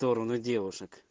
в сторону девушек